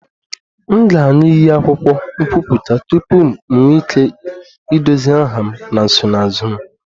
M ga-aṅụ iyi akwụkwọ nkwupụta tupu m nwee ike idozi aha m na nsonaazụ m